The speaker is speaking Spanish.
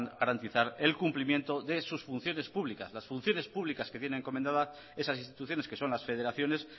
garantizar el cumplimiento de sus funciones públicas las funciones públicas que tienen encomendadas esas instituciones que son las federaciones